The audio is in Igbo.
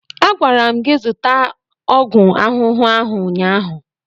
A gwara m gị zụta ọgwụ ahụhụ ahụ ụnyaahụ!